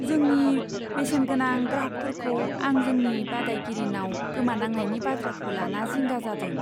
जोंनि बेसेनगोनां ग्राहकफोरखौ आं जोंनि बादायगिरिनाव गोमानांनायनि बाथ्राखौ लाना जिंगा जादों।